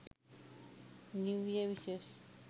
new year wishes